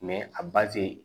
a ba te